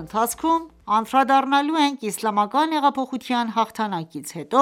ընթացքում անդրադառնալու ենք ՝իսլամական հեղափոխության հաղթանակից հետո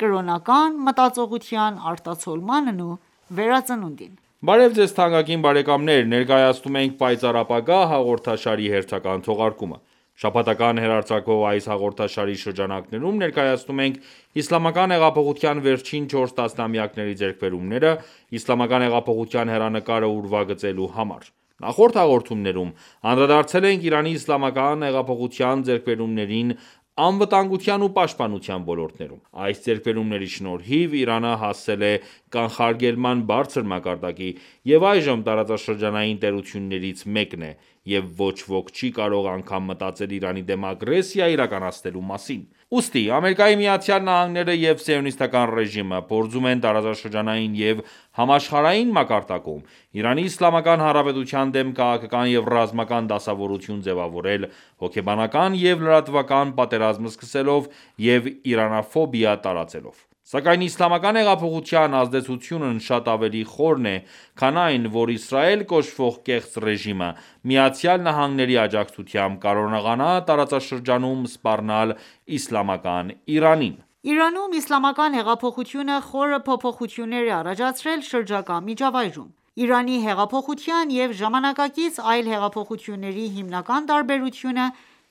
կրոնական մտածողության արտացոլմանն ու վերածնունդին։ Բարև ձեզ թանկագին բարեկամներ, ներկայացնում ենք «Պայծառ ապագա» հաղորդաշարի հերթական թողարկումը: Շաբաթական հեռարձակվող այս հաղորդաշարի շրջանակներում ներկայացնում ենք Իսլամական հեղափոխության վերջին 4 տասնամյակների ձեռքբերումները՝ իսլամական հեղափոխության հեռանկարը ուրվագծելու համար։ Նախորդ հաղորդումներում անդրադարձել ենք Իրանի Իսլամական հեղափոխության ձեռքբերումներին ՝անվտանգության ու պաշտպանության ոլորտներում :Այս ձեռքբերումների շնորհիվ Իրանը հասել է կանխարգելման բարձր մակարդակի, և այժմ տարածաշրջանային տերություններից մեկն է, և ոչ ոք չի կարող անգամ մտածել Իրանի դեմ ագրեսիա իրականացնելու մասին։ Ուստի ԱՄՆ-ը ​​և սիոնիստական ​​ռեժիմը փորձում են տարածաշրջանային և համաշխարհային մակարդակում ,Իրանի Իսլ.Հանրապետության դեմ քաղաքական և ռազմական դասավորություն ձևավորել ՝ հոգեբանական և լրատվական պատերազմ սկսելով և իրանաֆոբիա տարածելով:Սակայն իսլամական հեղափոխության ազդեցությունն շատ ավելի խորն է, քան այն, որ Իսրայել կոչվող կեղծ ռեժիմը ,ԱՄՆ-ի աջակցությամբ կարողանա տարածաշրջանում սպառնալ իսլամական Իրանին:Իրանում ,Իսլամական հեղափոխությունը խորը փոփոխություններ է առաջացրել շրջակա միջավայրում:Իրանի հեղափոխության և ժամանակակից այլ հեղափոխությունների հիմնական տարբերությունը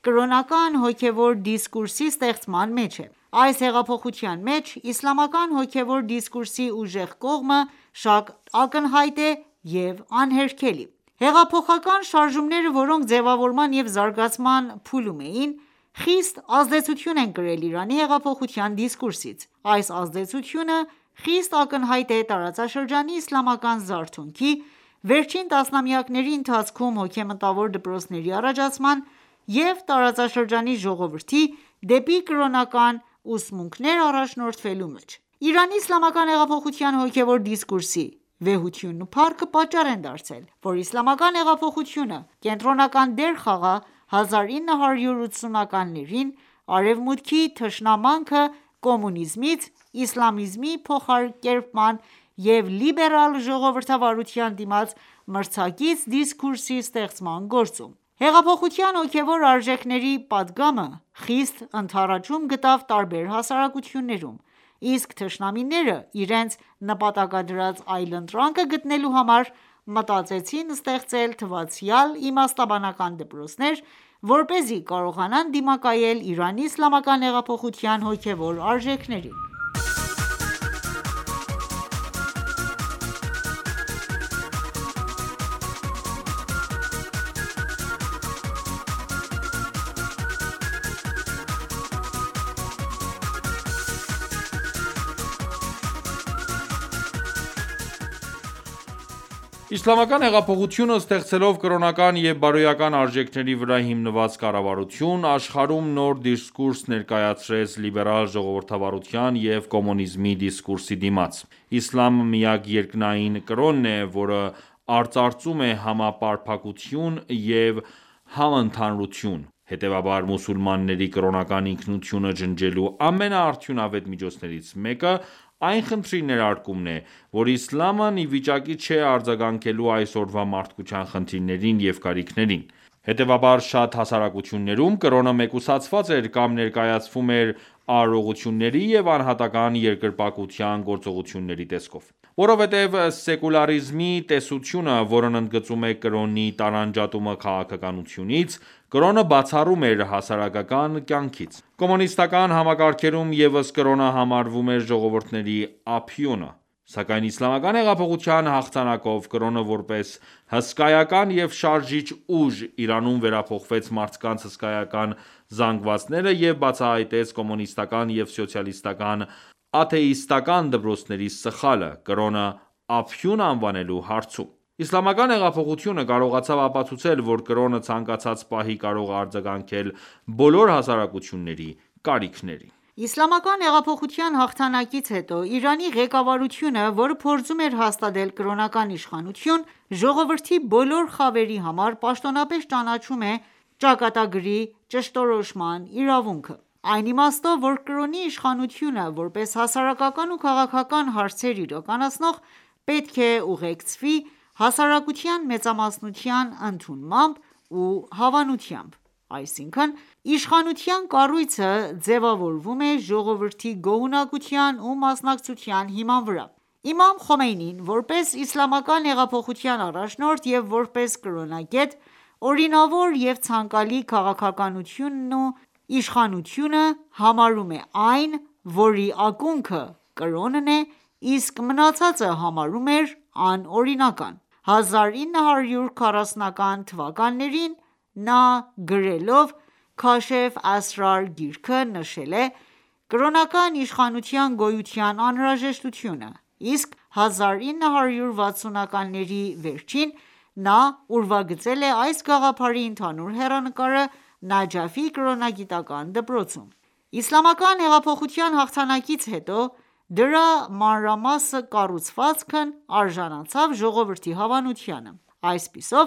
կրոնական հոգևոր դիսկուրսի ստեղծման մեջ է:Այս հեղափոխության մեջ իսլամական հոգևոր դիսկուրսի ուժեղ կողմը շատ ակնհայտ է և անհերքելի:Հեղափոխական շարժումները ,որոնք ձևավորման և զարգացման փուլում էին ,խիստ ազդեցություն են կրել Իրանի հեղափոխության դիսկուրսից:Այս ազդեցությունը խիստ ակնհայտ է տարածաշրջանի իսլամական զարթոնքի, վերջին տասնամյակների ընթացքում հոգեմտավոր դպրոցների առաջացման և տարածաշրջանի ժողովրդի դեպի կրոնական ուսմունքներ առաջնորդվելու մեջ:Իրանի Իսլամական հեղափոխության հոգևոր դիսկուրսի վեհությունն ու փառքը պատճառ են հանդիսացել ,որ Իսլամական հեղափոխությունը կենտրոնական դեր խաղա 1980-ականներին Արևմուտքի թշնամանքը կոմունիզմից իսլամիզմի փոխակերպման և լիբերալ ժողովրդավարության դիմաց մրցակից դիսկուրսի ստեղծման գործում։ .Հեղափոխության հոգեւոր արժեքների պատգամը խիստ ընդառաջում գտավ տարբեր հասարակություններում, իսկ թշնամիները, իրենց նպատակադրած այլընտրանքը գտնելու համար, մտածեցին ստեղծել թվացյալ իմաստաբանական դպրոցներ, որպեսզի կարողանան դիմակայել Իրանի իսլամական հեղափոխության հոգեւոր արժեքներին: Իսլամական հեղափոխությունը ստեղծելով կրոնական և բարոյական արժեքների վրա հիմնված կառավարություն՝ աշխարհում նոր դիսկուրս ներկայացրեց լիբերալ ժողովրդավարության և կոմունիզմի դիսկուրսի դիմաց։ Իսլամը միակ երկնային կրոնն է, որը արծարծում է համապարփակություն և համընդհանուրություն, հետևաբար, մուսուլմանների կրոնական ինքնությունը ջնջելու ամենաարդյունավետ միջոցներից մեկը այն խնդրի ներարկումն է, որ իսլամն ի վիճակի չէ արձագանքելու այսօրվա մարդկության խնդիրներին և կարիքներին:Հետևաբար շատ հասարակություններում կրոնը մեկուսացված էր կամ ներկայացվում էր արարողությունների և անհատական երկրպագության ​​գործողությունների տեսքով:Որովհետև սեկուլարիզմի տեսությունը, որն ընդգծում էր կրոնի տարանջատումը քաղաքականությունից, կրոնը բացառում էր հասարակական կյանքից:Կոմունիստական ​​համակարգերում ևս կրոնը համարվում էր ժողովուրդների ափիոնը։ Սակայն իսլամական հեղափոխության հաղթանակով կրոնը որպես հսկայական և շարժիչ ուժ, Իրանում վերափոխեց մարդկանց հսկայական զանգվածները և բացահայտեց կոմունիստական ​​և սոցիալիստական ​​աթեիստական ​​դպրոցների սխալը՝ կրոնը ափիոն անվանելու հարցում։ Իսլամական հեղափոխությունը կարողացավ ապացուցել, որ կրոնը ցանկացած պահի կարող է արձագանքել բոլոր հասարակությունների կարիքներին:Իսլամական հեղափոխության հաղթանակից հետո ,Իրանի ղեկավարությունը ,որը փորձում էր հաստատել կրոնական իշխանություն, ժողովրդի բոլոր խավերի համար պաշտոնապես ճանաչում է ճակատագրի ճշտորոշման իրավունքը: Այն իմաստով ,որ կրոնի իշխանությունը, որպես հասարակական ու քաղաքական հարցեր իրականացնող, պետք է ուղեկցվի հասարակության մեծամասնության ընդունմամբ ու հավանությամբ։ Այսինքն՝ իշխանության կառույցը ձեւավորվում է ժողովրդի գոհունակության ու մասնակցության հիման վրա:Իմամ Խոմեյնին ,որպես Իսլամական հեղափոխության առաջնորդ և որպես կրոնագետ ,օրինավոր եւ ցանկալի քաղաքականությունն ու իշխանությունը համարում է այն ,որի ակունքը կրոնն է իսկ մնացածը համարում էր անօրինական :1940-ական թվականներին նա գրելով «Քաշֆե Ասրար» գիրքը նշել է կրոնական իշխանության գոյության անհրաժեշտությունը, իսկ 1960-ականների վերջին նա ուրվագծել է այս գաղափարի ընդհանուր հեռանկարը Նաջաֆի կրոնագիտական դպրոցում: Իսլամական հեղափոխության հաղթանակից հետո դրա մանրամաս կառուցվածքն արժանացավ ժողովրդի հավանությանը։ Այսպիսով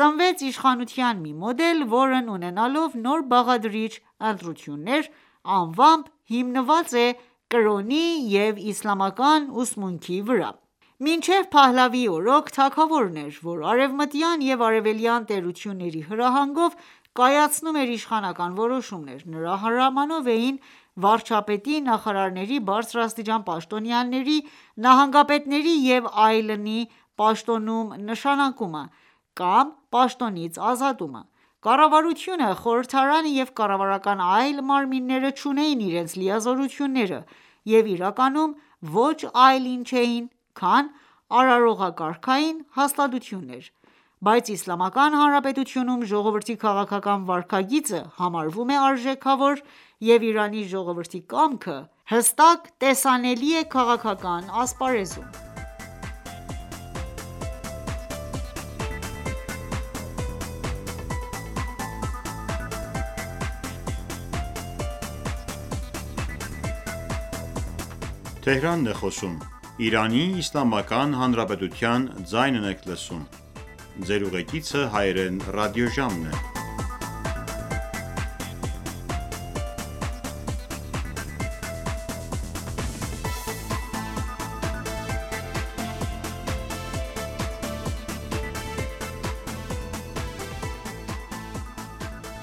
ծնվեց իշխանության մի մոդել, որն ունենալով նոր բաղադրիչ՝ ընտրություններ անվամբ հիմնված է կրոնի և իսլամական ուսմունքի վրա։ Մինչդեռ Փահլավիի օրոք, թագավորն էր ով արևմտյան և արևելյան տերությունների հրահանգով կայացնում էր իշխանական որոշումներ, նրա հրամանով էին վարչապետի, նախարարների, բարձրաստիճան պաշտոնյաների, նահանգապետների և այլնի պաշտոնում նշանակումը կամ պաշտոնից ազատումը, կառավարությունը, խորհրդարանը և կառավարական այլ մարմիններ չունեին իրենց լիազորությունները և իրականում ոչ այլ ինչ էին, քան արարողակարգային հաստատություններ:Բայց Իսլամական Հանրապետությունում ժողովրդի քաղաքական վարքագիծը համարվում է արժեքավոր,և Իրանի ժողովրդի կամքը հստակ տեսանելի է քաղաքական ասպարեզում։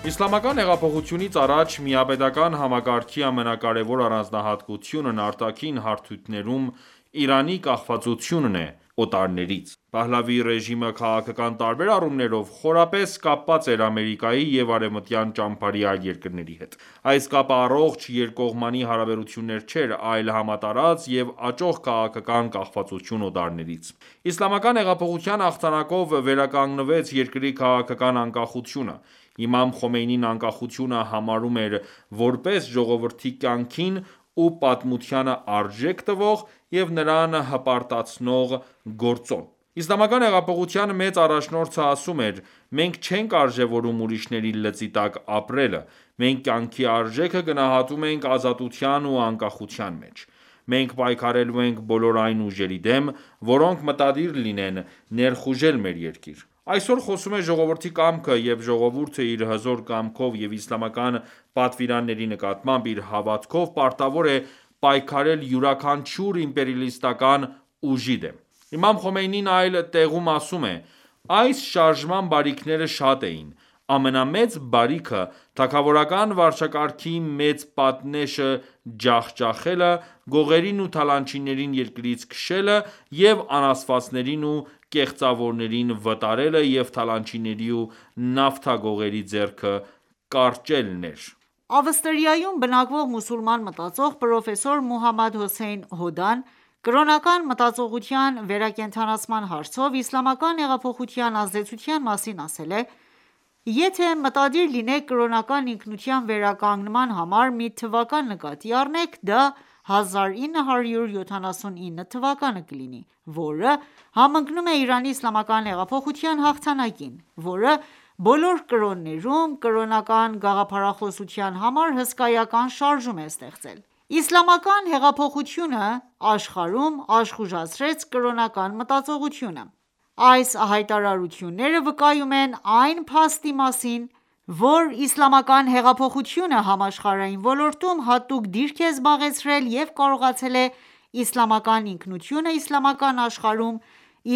Իսլամական հեղափոխությունից առաջ միապետական ​​համակարգի ամենակարևոր առանձնահատկությունն արտաքին հարթությունում Իրանի կախվածությունն էր օտարներից:Փահլավիի ռեժիմը քաղաքական տարբեր առումներով խորապես կապված էր Ամերիկայի և արևմտյան ճամբարի այլ երկրների հետ:Այս կապը առողջ երկկողմանի հարաբերություններ չէր, այլ համատարած և աճող քաղաքական կախվածություն օտարներից:Իսլամական հեղափոխության հաղթանակով վերականգնվեց երկրի քաղաքական անկախությունը։ Իմամ Խոմեյնին անկախությունը համարում էր, որպես ժողովրդի կյանքին ու պատմությանը արժեք տվող և նրան հպարտացնող գործոն; Իսլամական հեղափոխության մեծ առաջնորդը ասում էր.«Մենք չենք արժևորում ուրիշների լծի տակ ապրելը: Մենք կյանքի արժեքը գնահատում ենք ազատության ու անկախության մեջ...Մենք պայքարելու ենք բոլոր այն ուժերի դեմ ,որոնք մտադիր լինեն ներխուժել մեր երկիր ...Այսօր խոսում է ժողովրդի կամքը,և ժողովուրդը իր հզոր կամքով և իսլամական պատվիրանների նկատմամբ իր հավատքով պարտավոր է պայքարել յուրաքանչյուր (իմպերիալիստական) ուժի դեմ»: Իմամ Խոմեյնին այլ տեղում ասում է.«Այս շարժման բարիքները շատ էին:Ամենամեծ բարիքը՝ թագավորական վարչակարգի մեծ պատնեշը ջախջախելը, գողերին ու թալանչիներին երկրից քշելը և անաստվածներին ու կեղծավորներին վտարելը և թալանիչների ու նավթագողերի ձեռքը կարճելն էր...»:Ավստրիայում բնակվող մուսուլման մտածող, պրոֆեսոր Մոհամմադ Հոսեյն Հոդան կրոնական մտածողության վերակենդանացման հարցով իսլամական հեղափոխության ազդեցության մասին ասել է.«Եթե մտադիր լինենք կրոնական ինքնության վերականգնման համար մի թվական նկատի առնենք, դա 1979 թվականը կլինի ,որը համընկնում է Իրանի Իսլամական հեղափոխության հաղթանակին ,որը բոլոր կրոններում կրոնական գաղափարախոսության համար հսկայական շարժում է ստեղծել :...Իսլամական հեղափոխությունը աշխարհում աշխուժացրեց կրոնական մտածողությունը»: Այս հայտարարությունները վկայում են այն փաստի մասին, որ իսլամական հեղափոխությունը համաշխարհային ոլորտում հատուկ դիրք է զբաղեցրել և կարողացել է իսլամական ինքնությունը իսլամական աշխարհում,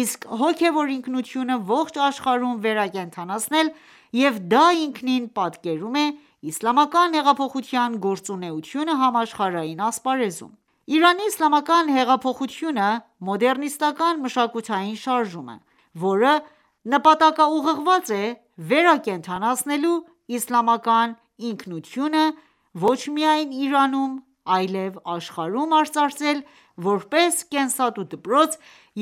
իսկ հոգևոր ինքնությունը՝ ողջ աշխարհում վերակենդանացնել և դա ինքնին պատկերում է Իսլամական հեղափոխության գործունակությունը համաշխարհային ասպարեզում: Իրանի Իսլամական հեղափոխությունը մոդեռնիստական ​​մշակութային շարժում է, որը նպատակաուղղված է վերակենդանացնելու իսլամական ինքնությունը ոչ միայն Իրանում, այլև աշխարհում արծարծել, որպես կենսատու դպրոց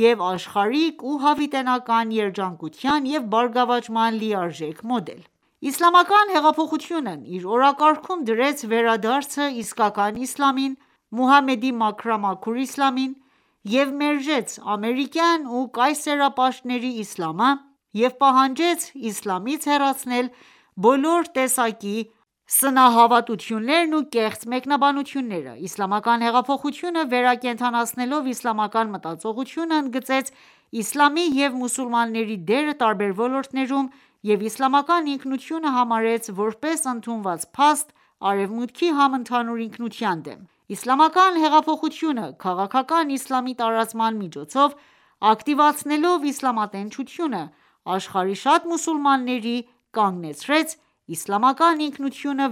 և աշխարհիկ ու հավիտենական երջանկության և բարգավաճման լիարժեք մոդել:Իսլամական հեղափոխությունն իր օրակարգում դրեց, վերադարձը՝ իսկական Իսլամին՝ Մուհամմեդի մաքրամաքուր իսլամին և մերժեց ամերիկյան ու կայսերապաշտների իսլամը և պահանջեց իսլամից հեռացնել բոլոր տեսակի սնահավատություններն ու կեղծ մեկնաբանությունները:Իսլամական հեղափոխությունը վերակենդանացնելով իսլամական մտածողությունը, ընդգծեց իսլամի և մուսուլմանների դերը տարբեր ոլորտներում և իսլամական ինքնությունը համարեց, որպես ընդունված փաստ Արևմուտքի համընդհանուր ինքնության դեմ: Իսլամական հեղափոխությունը, քաղաքական իսլամի տարածման միջոցով ակտիվացնելով իսլամատենչությունը, աշխարհի շատ մուսուլմանների կանգնեցրեց իսլամական ինքնությունը